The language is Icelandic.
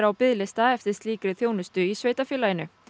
á biðlista eftir slíkri þjónustu í sveitarfélaginu